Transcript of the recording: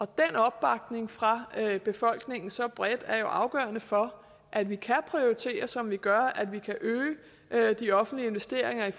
den opbakning fra befolkningen så bredt er jo afgørende for at vi kan prioritere som vi gør at vi kan øge de offentlige investeringer i